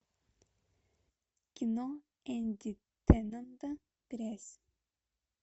кино энди тендонта грязь